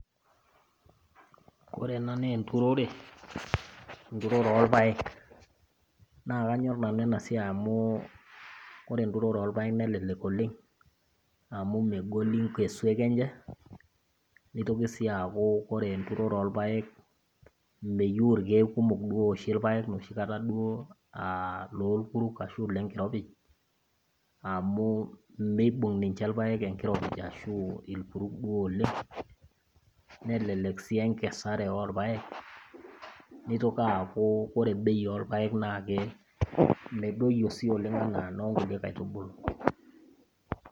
Ore ena naa enturore , enturore olpaek, naa kanyor nanu ena siai amu ore enturore olpaek nelelek oleng amu megoli ngesuek enye neitoki sii aaku ore enturore olpaek meyeu ilkeek kumok ooshi ilpaek noshikataa aalolkurruk, ashu lenkiropij, amu meibung' ninche ilpaek enkiropij ashu ilkurruk duo oleng nelelek sii enkesare olpaek, neitoki aaku ore bei olpaek naa medoyio sii ooleng, anaa nookulie kaitubulu.